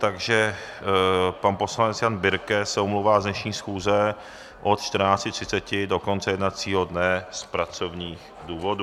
Takže pan poslanec Jan Birke se omlouvá z dnešní schůze od 14.30 do konce jednacího dne z pracovních důvodů.